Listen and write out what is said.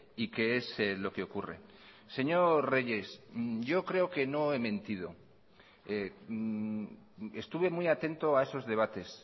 y qué es lo que ocurre señor reyes yo creo que no he mentido estuve muy atento a esos debates